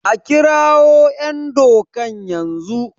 a kirawo `yandakon yanzu?